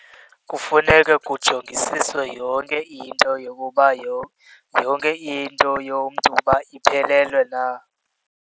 Kufuneke kujongisiswe yonke into yokuba yonke into yomntu uba iphelelwe na.